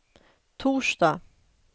torsdag